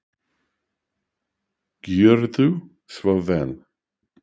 Gjörðu svo vel.